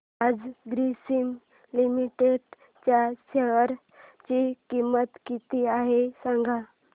आज ग्रासीम लिमिटेड च्या शेअर ची किंमत किती आहे सांगा